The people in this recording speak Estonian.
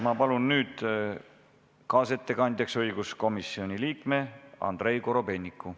Ma palun kaasettekandjaks õiguskomisjoni liikme Andrei Korobeiniku.